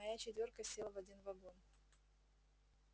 моя четвёрка села в один вагон